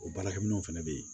O baarakɛminɛnw fana bɛ yen